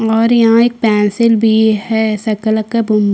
और यहाँ एक पेंसिल भी है शकालका बूम --